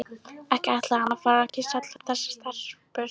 Ekki ætlaði hann að fara að kyssa allar þessar stelpur.